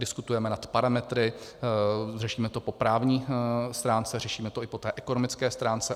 Diskutujeme nad parametry, řešíme to po právní stránce, řešíme to i po té ekonomické stránce.